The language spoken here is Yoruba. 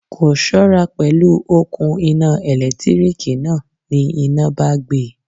Kò ṣọ́ra pẹ̀lú òkun iná ẹ̀lẹ́tíríkì náà, ní iná bá gbe.